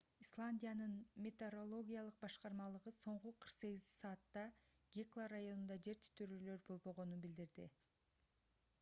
исландиянын метеорологиялык башкармалыгы соңку 48 саатта гекла районунда жер титирөөлөр болбогонун билдирди